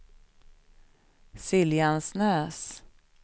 Siljansnäs